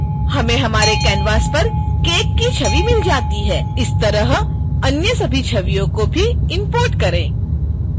हमें हमारे canvas पर cake की छवि मिल जाती है इसी तरह अन्य सभी छवियों को भी इम्पोर्ट करें